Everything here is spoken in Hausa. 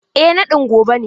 Eh naɗin gobe ne.